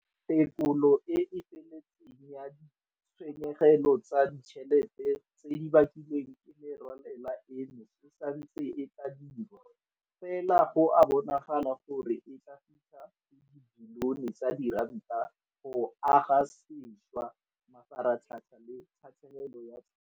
Tekolo e e feletseng ya ditshenyegelo tsa ditšhelete tse di bakilweng ke merwalela eno e santse e tla dirwa, fela go a bonala gore e tla fitlha go dibilione tsa diranta go aga sešwa mafaratlhatlha le tatlhegelo ya tlhagiso.